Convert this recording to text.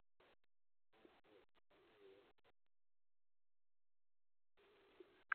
Waa maxay astamaha iyo calaamadaha cilada Occipitalka hornka?